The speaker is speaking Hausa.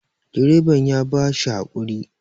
direban ya ba shi hakuri